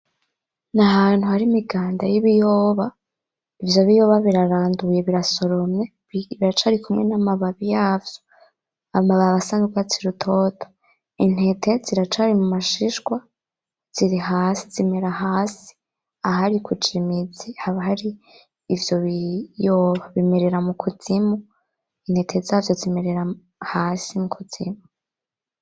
N'ahantu hari imiganda y'ibiyoba ,ivyo biyoya biraranduye birasoromye biracarikumwe n'amababi yavyo ,amababi asa n'urwatsi rutoto, intete ziracari mumashishwa ziri hasi zimera hasi, ahari kuja imizi, haba hari ivyo biyoba bimerera mukuzimu, intete zavyo zimerera hasi mukuzimu.